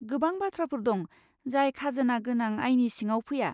गोबां बाथ्राफोर दं जाय खाजोना गोनां आयनि सिङाव फैया।